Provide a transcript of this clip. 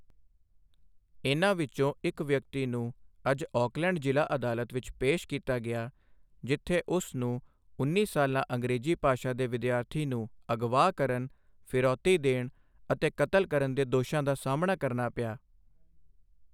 ਇਨ੍ਹਾਂ ਵਿੱਚੋਂ ਇੱਕ ਵਿਅਕਤੀ ਨੂੰ ਅੱਜ ਆਕਲੈਂਡ ਜ਼ਿਲ੍ਹਾ ਅਦਾਲਤ ਵਿੱਚ ਪੇਸ਼ ਕੀਤਾ ਗਿਆ ਜਿੱਥੇ ਉਸ ਨੂੰ ਉੱਨੀ ਸਾਲਾ ਅੰਗਰੇਜ਼ੀ ਭਾਸ਼ਾ ਦੇ ਵਿਦਿਆਰਥੀ ਨੂੰ ਅਗਵਾ ਕਰਨ, ਫਿਰੌਤੀ ਦੇਣ ਅਤੇ ਕਤਲ ਕਰਨ ਦੇ ਦੋਸ਼ਾਂ ਦਾ ਸਾਹਮਣਾ ਕਰਨਾ ਪਿਆ।